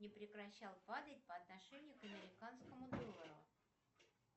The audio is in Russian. не прекращал падать по отношению к американскому доллару